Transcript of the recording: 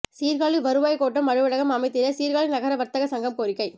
சீர்காழி வருவாய் கோட்டம் அலுவலகம் அமைத்திட சீர்காழி நகர வர்த்தக சங்கம் கோரிக்கை